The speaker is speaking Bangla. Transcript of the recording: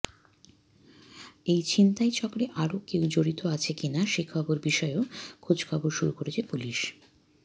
এই ছিনতাই চক্রে আরও কেউ জড়িত আছে কি না সে বিষয়েও খোঁজখবর শুরু করেছে পুলিশ